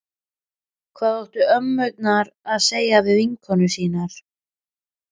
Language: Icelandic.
Hvað áttu ömmurnar að segja við vinkonur sínar?